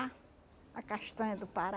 A castanha do Pará.